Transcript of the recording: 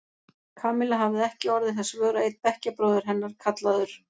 Kamilla hafði ekki orðið þess vör að einn bekkjarbróðir hennar, kallaður